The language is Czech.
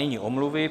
Nyní omluvy.